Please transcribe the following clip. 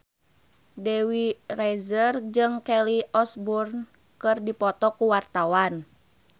Dewi Rezer jeung Kelly Osbourne keur dipoto ku wartawan